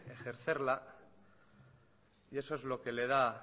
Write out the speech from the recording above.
ejercerla y eso es lo que le da